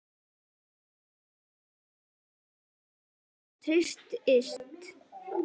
Spurning hvort að þetta tengist því?